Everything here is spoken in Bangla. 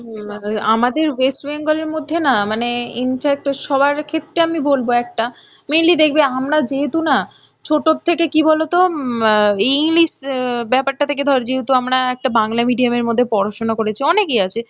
আমাদের west bengal এর মধ্যে না মানে infact সবার ক্ষেত্রে আমি বলবো একটা mainly দেখবে আমরা যেহেতু না ছোটর থেকে কি বলতো অ্যাঁ english অ্যাঁ ব্যাপারটা থেকে ধর যেহেতু আমরা একটা বাংলা medium এর মধ্যে পড়াশোনা করেছি, অনেকেই আছে